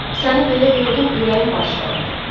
Səni belə gördüm, ürəyim parçalandı.